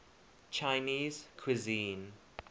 chinese cuisine